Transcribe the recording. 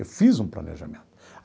Eu fiz um planejamento.